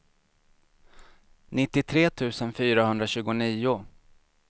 nittiotre tusen fyrahundratjugonio